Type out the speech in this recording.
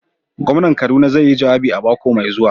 Gwamnan kaduna zai yi jawabi a mako mai zuwa.